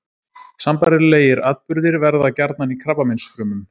Sambærilegir atburðir verða gjarnan í krabbameinsfrumum.